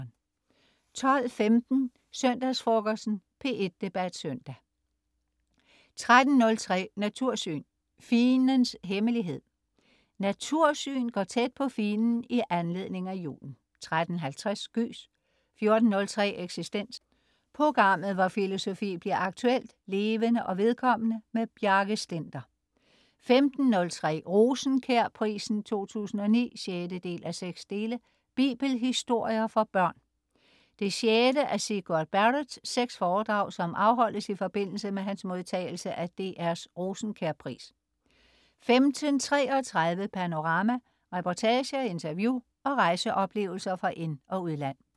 12.15 Søndagsfrokosten. P1 Debat Søndag 13.03 Natursyn: Figenens hemmelighed. "Natursyn" går tæt på figenen i anledning af julen 13.50 Gys 14.03 Eksistens. Programmet hvor filosofi bliver aktuelt, levende og vedkommende. Bjarke Stender 15.03 Rosenkjærprisen 2009 6:6. Bibelhistorier for børn. Det sjette af Sigurd Barretts seks foredrag, som afholdes i forbindelse med hans modtagelse af DRs Rosenkjær pris 15.33 Panorama. Reportager, interview og rejseoplevelser fra ind- og udland